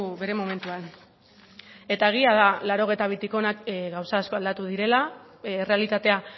bere momentuan eta egia da laurogeita bitik hona gauza asko aldatu direla errealitatea